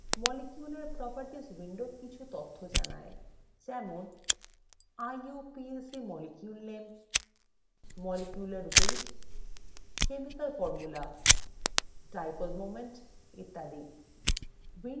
molecule properties window কিছু তথ্য জানায় যেমন